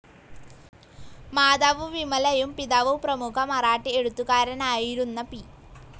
Mother വിമലയും പിതാവ് പ്രമുഖ മറാഠി എഴുത്തുകാരനായിരുന്ന പി.